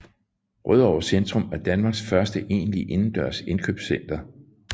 Rødovre Centrum er Danmarks første egentlige indendørs indkøbscenter